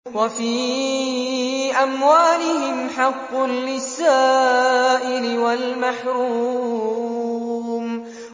وَفِي أَمْوَالِهِمْ حَقٌّ لِّلسَّائِلِ وَالْمَحْرُومِ